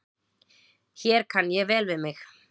Hér kann ég vel við mig.